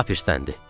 Lap isdəndı.